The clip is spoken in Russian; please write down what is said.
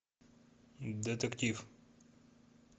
детектив